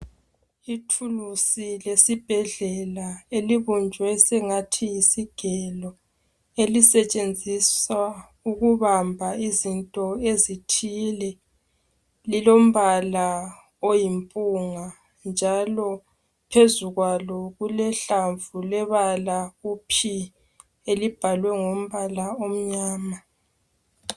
Ithulusi lesibhedlela elibunjwe sengathi yiyigelo elisetshenziswa ukubamba izinto ezithile lilompala oyimpunga njalo phezulu kwaso kulehlamvu lebala u P elibhalwe ngamabala amnyama.